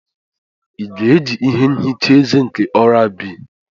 Ị ga-eji ihe nchicha eze nke oral B?